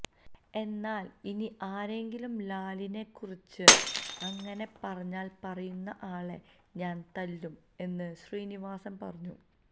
എന്നാല് ഇനി ആരെങ്കിലും ലാലിനെ കുറിച്ച് അങ്ങനെ പറഞ്ഞാല് പറയുന്ന ആളെ ഞാന് തല്ലും എന്ന് ശ്രീനിവാസന് പറഞ്ഞു